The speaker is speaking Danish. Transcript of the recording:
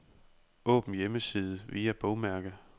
Åbn hjemmeside via bogmærke.